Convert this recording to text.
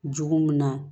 Jogo min na